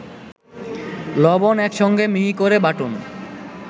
লবণ একসঙ্গে মিহি করে বাটুন